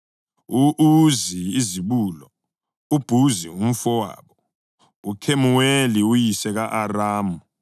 u-Uzi izibulo, uBhuzi umfowabo, uKhemuweli (uyise ka-Aramu),